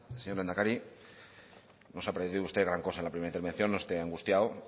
señor lehendakari no se ha perdido usted gran cosa en la primera intervención no esté angustiado